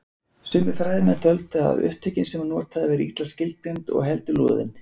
Sumir fræðimenn töldu að hugtökin sem hann notaði væru illa skilgreind og heldur loðin.